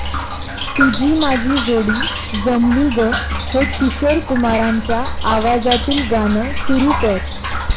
तुझी माझी जोडी जमली गं हे किशोर कुमारांच्या आवाजातील गाणं सुरू कर